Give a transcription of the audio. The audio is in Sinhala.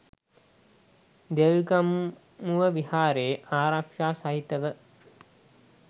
දෙල්ගමුව විහාරයේ ආරක්‍ෂා සහිතව